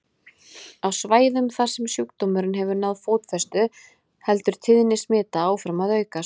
Á svæðum þar sem sjúkdómurinn hefur náð fótfestu heldur tíðni smita áfram að aukast.